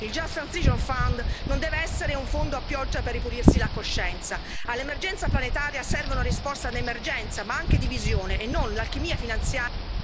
Il Just Transition Fund non deve essere un fondo a pioggia per ripulirsi la coscienza. All'emergenza planetaria serve una risposta di emergenza ma anche di visione e non l'alchimia finanziaria...